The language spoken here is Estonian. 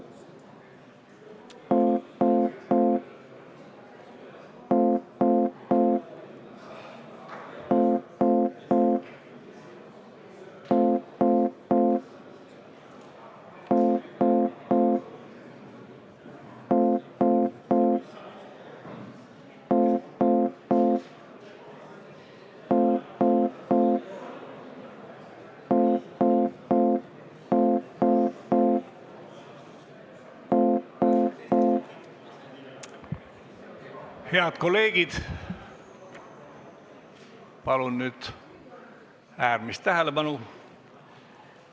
Head kolleegid, palun nüüd äärmist tähelepanu!